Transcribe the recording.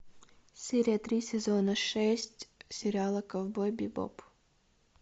серия три сезона шесть сериала ковбой бибоп